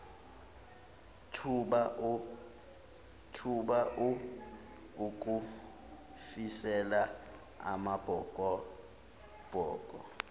thuba ukufisela amabhokobhoko